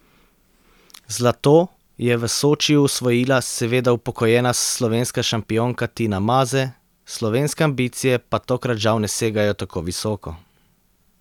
Zlato je v Sočiju osvojila seveda upokojena slovenska šampionka Tina Maze, slovenske ambicije pa tokrat žal ne segajo tako visoko.